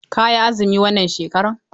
Ka yi azumi wannan shekaran!